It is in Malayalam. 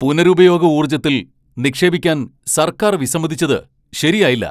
പുനരുപയോഗ ഊർജത്തിൽ നിക്ഷേപിക്കാൻ സർക്കാർ വിസമ്മതിച്ചത് ശരിയായില്ല.